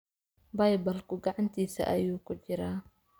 Baybalku gacantiisa ayuu ku jiraa